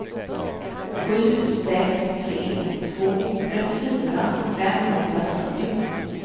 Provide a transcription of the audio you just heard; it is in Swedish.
sju sex tre två trettiofyra femhundrafyrtio